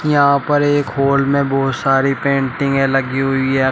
यहां पर एक हॉल में बहुत सारी पेंटिंगे लगी हुई है।